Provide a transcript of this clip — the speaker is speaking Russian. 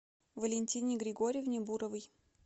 валентине григорьевне буровой